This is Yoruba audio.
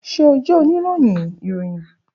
Ṣe o jẹ onirohin iroyin?